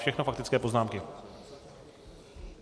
Všechno faktické poznámky.